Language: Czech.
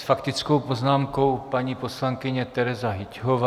S faktickou poznámkou paní poslankyně Tereza Hyťhová.